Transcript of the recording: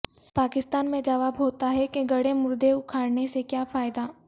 پاکستان میں جواب ہوتا ہے کہ گڑھے مردے اکھاڑنے سے کیا فائدہ